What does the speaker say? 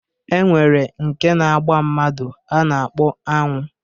E nwere nke na-agba mmadụ a na-akpọ aṅụ.